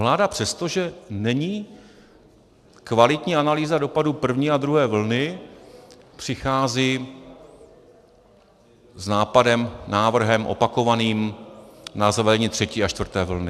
Vláda přesto, že není kvalitní analýza dopadu první a druhé vlny, přichází s nápadem, návrhem opakovaným na zavedení třetí a čtvrté vlny.